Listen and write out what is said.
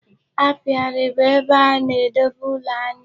Apiary bụ ebe a na-edobe ụlọ aṅụ.